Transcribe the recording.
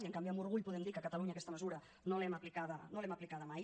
i en canvi amb orgull podem dir que a catalunya aquesta mesura no l’hem aplicada no l’hem aplicada mai